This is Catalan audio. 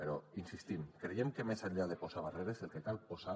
però hi insistim creiem que més enllà de posar barreres el que cal posar